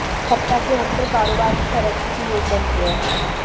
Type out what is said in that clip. सप्ताह के अंत में कारोबार की तरक्की के योग बनते हैं